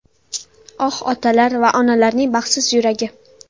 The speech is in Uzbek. Oh, otalar va onalarning baxtsiz yuragi!